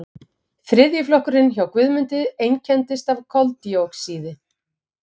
Þriðji flokkurinn hjá Guðmundi einkennist af koldíoxíði.